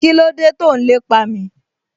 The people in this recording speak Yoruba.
Kíló dé tó n lépa mi?